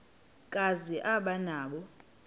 kazi aba nawo